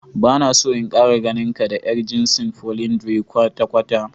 Bana so in Kara ganinka da yar jinsin "Polyandry" kwata kwata.